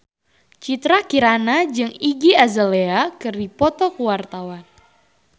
Citra Kirana jeung Iggy Azalea keur dipoto ku wartawan